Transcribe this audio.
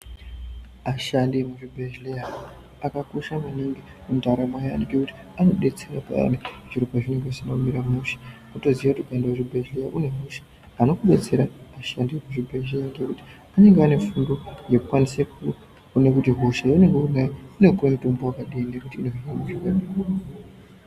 Ashandi emuzvibhedhleya akakosha maningi mundaramo yaantu ngekuti anodetsera payani zviro pazvinenge zvisina kumira mushe kutoziya kuti kuende kuzvibhedhlera une hosha anokubetsera ashandi ekuzvibhedhleya ngekuti anenge ane fundo yekukwanise kuone kuti hosha yemene paya inopuwe mutombo wakadini kuti ipere.